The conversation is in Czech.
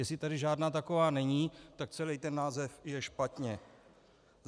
Jestli tady žádná taková není, tak celý ten název je špatně.